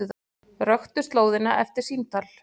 Röktu slóðina eftir símtal